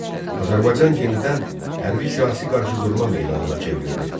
Azərbaycan yenidən hərbi siyasi qarşıdurma meydanına çevrildi.